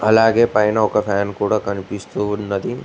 అలాగే పైన ఒక ఫ్యాన్ కూడా కనిపిస్తూ ఉన్నది.